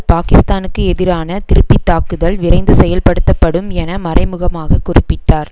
பாக்கிஸ்தானுக்கு எதிரான திருப்பி தாக்குதல் விரைந்து செயல்படுத்தப்படும் என மறைமுகமாகக் குறிப்பிட்டார்